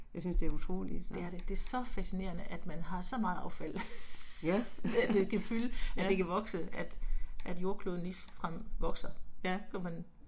Jeg synes det er utroligt, nåh. Ja, ja. Ja